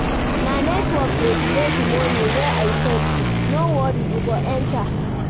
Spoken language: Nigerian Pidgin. Na network dey delay di moni wey I send, no worry e go enta.